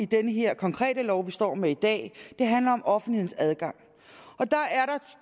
den her konkrete lov vi står med i dag handler om offentlighedens adgang